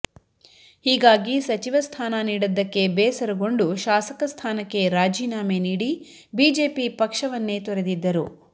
ಹೀಗಾಗಿ ಸಚಿವ ಸ್ಥಾನ ನೀಡದ್ದಕ್ಕೆ ಬೇಸರಗೊಂಡು ಶಾಸಕ ಸ್ಥಾನಕ್ಕೆ ರಾಜೀನಾಮೆ ನೀಡಿ ಬಿಜೆಪಿ ಪಕ್ಷವನ್ನೇ ತೊರೆದಿದ್ದರು